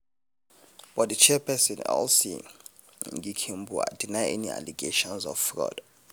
but di chairperson elsie nghikembua deny any allegations of fraud.